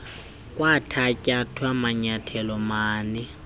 kwathatyathwa manyathelo mani